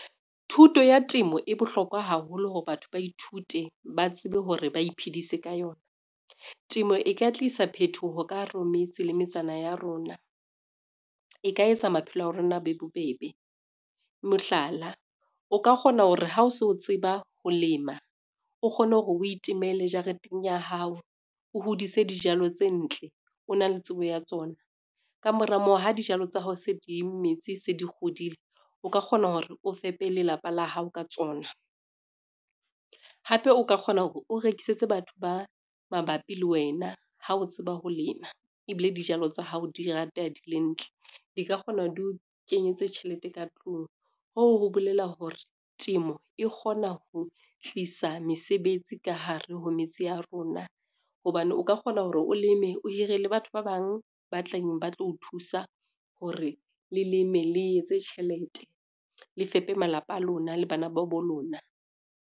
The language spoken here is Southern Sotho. Thuto ya temo e bohlokwa haholo hore batho ba ithute ba tsebe hore ba iphedise ka yona. Temo e ka tlisa phethoho ka hare ho metse le metsana ya rona, e ka etsa maphelo a rona a be bobebe. Mohlala, o ka kgona hore ha o so tseba ho lema, o kgone hore o itemele jareteng ya hao, o hodise dijalo tse ntle, o na le tsebo ya tsona. Ka mora moo ha dijalo tsa hao se di metse se di hodile, o ka kgona hore o fepe lelapa la hao ka tsona. Hape o ka kgona hore o rekisetse batho ba mabapi le wena ha o tseba ho lema ebile dijalo tsa hao di rateha di le ntle, di ka kgona ho di o kenyetse tjhelete ka tlung hoo ho bolela hore temo e kgona ho tlisa mesebetsi ka hare ho metse ya rona. Hobane o ka kgona hore o leme, o hire le batho ba bang ba tlang ba tlo o thusa hore le leme le etse tjhelete, le fepe malapa a lona le bana ba bo lona.